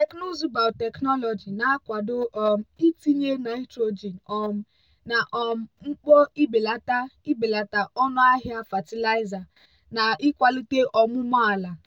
teknụzụ biotechnology na-akwado um itinye nitrogen um na um mkpo ibelata ibelata ọnụ ahịa fatịlaịza na ịkwalite ọmụmụ ala.